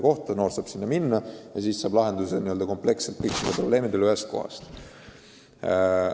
Noor inimene saab sinna minna ja ehk leitakse n-ö kompleksselt lahendus kõikidele tema probleemidele ühes kohas.